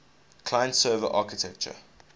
client server architecture